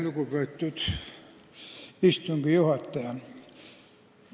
Lugupeetud istungi juhataja!